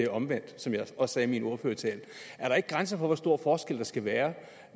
omvendt som jeg også sagde i min ordførertale er der ikke grænser for hvor stor forskel der skal være